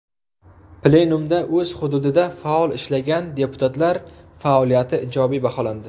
Plenumda o‘z hududida faol ishlagan deputatlar faoliyati ijobiy baholandi.